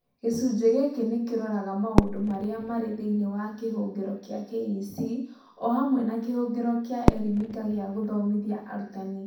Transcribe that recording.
Gĩcunjĩ gĩkĩ nĩ kĩroraga maũndũ marĩa marĩ thĩinĩ wa kĩhũngĩro kĩa KEC, o hamwe na kĩhũngĩro kĩa ELimika gĩa gũthomithia arutani.